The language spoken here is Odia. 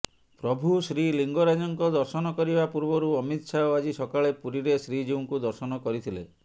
ପ୍ରଭୁ ଶ୍ରୀଲିଙ୍ଗରାଜଙ୍କ ଦର୍ଶନ କରିବା ପୂର୍ବରୁ ଅମିତ ଶାହ ଆଜି ସକାଳେ ପୁରୀରେ ଶ୍ରୀଜିଉଙ୍କୁ ଦର୍ଶନ କରିଥିଲେ